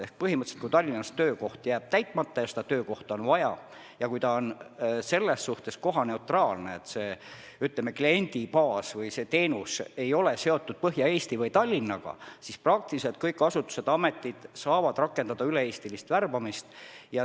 Põhimõtteliselt on nii, et kui Tallinnas jääb töökoht täitmata ja seda töökohta on vaja ja kui see on kohaneutraalne, kui, ütleme, kliendibaas või teenus ei ole seotud Põhja-Eesti või Tallinnaga, siis saavad kõik asutused-ametid rakendada üle-eestilist värbamist.